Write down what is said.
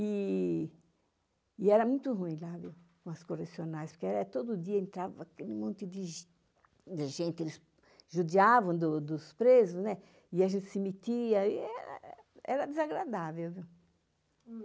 E era muito ruim lá, viu, com as correcionais, porque todo dia entrava aquele monte de gente, eles judiavam dos presos, né, e a gente se metia, e era desagradável, viu.